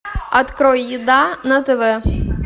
открой еда на тв